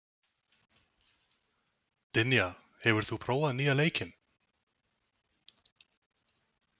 Dynja, hefur þú prófað nýja leikinn?